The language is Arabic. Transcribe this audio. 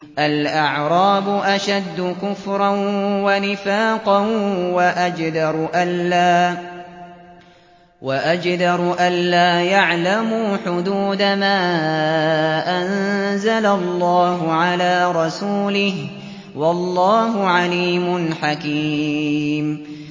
الْأَعْرَابُ أَشَدُّ كُفْرًا وَنِفَاقًا وَأَجْدَرُ أَلَّا يَعْلَمُوا حُدُودَ مَا أَنزَلَ اللَّهُ عَلَىٰ رَسُولِهِ ۗ وَاللَّهُ عَلِيمٌ حَكِيمٌ